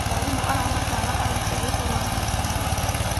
Mwarimũ aramatara arutwo gũkorwo na matanya.